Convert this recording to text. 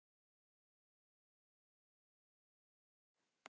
Sólveig: Hvernig fer leikurinn?